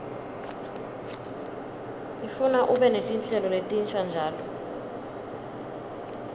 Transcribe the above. ifuna ube netinhlelo letinsha njalo